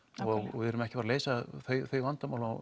og við erum ekki að fara að leysa þau vandamál á